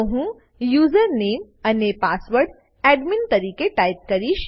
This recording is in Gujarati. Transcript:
તો હું યુઝરનેમ યુઝરનેમ અને પાસવર્ડ પાસવર્ડ એડમિન તરીકે ટાઈપ કરીશ